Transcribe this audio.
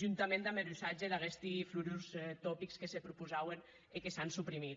juntament damb er usatge d’aguesti florurs topics que se prepausauen e que s’an suprimit